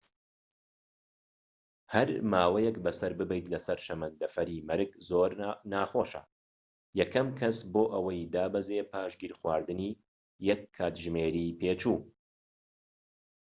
هەر ماوەیەك بەسەر ببەیت لەسەر شەمەندەفەری مەرگ ناخۆشە یەکەم کەس بۆ ئەوەی دابەزێت پاش گیرخواردنی یەك کاتژمێری پێچوو